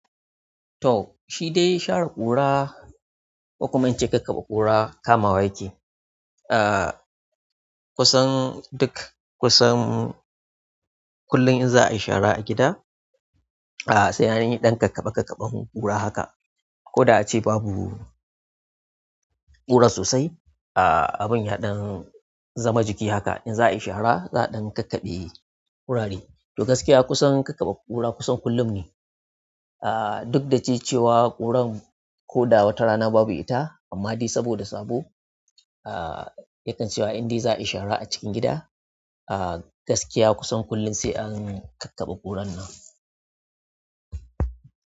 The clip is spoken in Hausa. To, shi dai shara ƙura, ko kuma in ce kakkaɓe ƙura kamawa yake. Ah, kusan duk kusan kullum in za a yi shara a gida, ah sai an yi ɗan kakkaɓe kakkaɓen ƙura haka. Ko da ace babu ƙura sosai, ah abin ya ɗan zama jiki haka. In za a yi shara za a ɗan kakkaɓe gurare. To gaskiya kusan kakkaɓe ƙura kusan kullum ne. Ah duk da ce cewa ƙuran ko da wata rana babu ita, amma dai saboda sabo, ah yakan cewa in dai za a yi shara a cikin gida, ah gaskiya kusan kullum sai an kakkaɓe ƙuran nan.